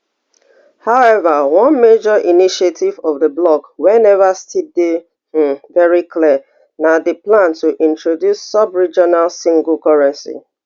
however one major initiative of di bloc wey neva still dey um very clear na di plan to introduce subregional single currency